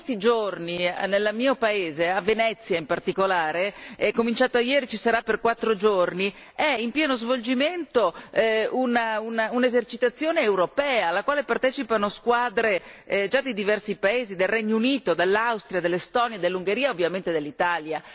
In questi giorni nel mio paese, a Venezia in particolare, è cominciata ieri e ci sarà per quattro giorni, è in pieno svolgimento un'esercitazione europea alla quale partecipano squadre di diversi paesi, del Regno Unito, dell'Austria, dell'Estonia, dell'Ungheria e, ovviamente, dell'Italia.